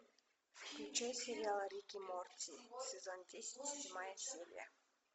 включи сериал рик и морти сезон десять седьмая серия